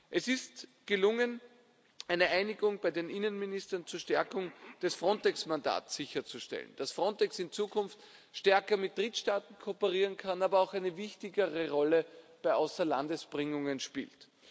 Es ist gelungen, eine Einigung bei den Innenministern zur Stärkung des Frontex Mandats sicherzustellen dass Frontex in Zukunft stärker mit Drittstaaten kooperieren kann, aber auch eine wichtigere Rolle bei Außerlandesbringungen spielt.